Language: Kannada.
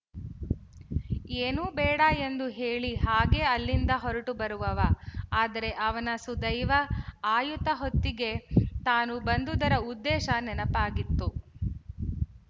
ಏನೂ ಬೇಡ ಎಂದು ಹೇಳಿ ಹಾಗೇ ಅಲ್ಲಿಂದ ಹೊರಟು ಬರುವವ ಆದರೆ ಅವನ ಸುದೈವ ಆಯುತ ಹೊತ್ತಿಗೆ ತಾನು ಬಂದುದರ ಉದ್ದೇಶ ನೆನಪಾಗಿತ್ತು